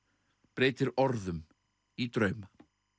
breytir orðum í drauma